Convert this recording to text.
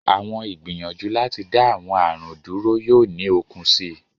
Awọn igbiyanju lati da awọn arun dúrú yoo ni okun sii